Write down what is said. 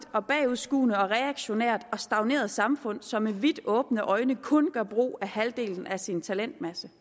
bagudskuende reaktionært og stagneret samfund som med vidt åbne øjne kun gør brug af halvdelen af sin talentmasse